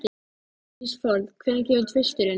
Ísfold, hvenær kemur tvisturinn?